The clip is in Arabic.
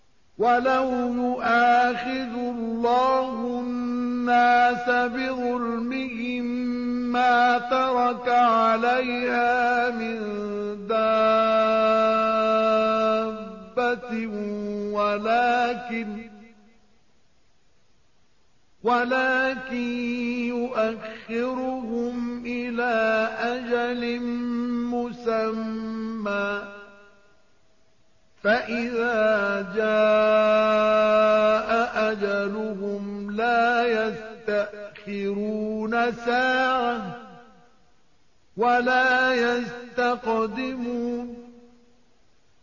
وَلَوْ يُؤَاخِذُ اللَّهُ النَّاسَ بِظُلْمِهِم مَّا تَرَكَ عَلَيْهَا مِن دَابَّةٍ وَلَٰكِن يُؤَخِّرُهُمْ إِلَىٰ أَجَلٍ مُّسَمًّى ۖ فَإِذَا جَاءَ أَجَلُهُمْ لَا يَسْتَأْخِرُونَ سَاعَةً ۖ وَلَا يَسْتَقْدِمُونَ